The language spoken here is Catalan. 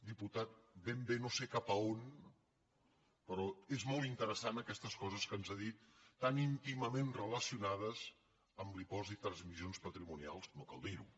diputat ben bé no sé cap a on però són molt interessants aquestes coses que ens ha dit tan íntimament relacionades amb l’impost de transmissions patrimonials no cal dir ho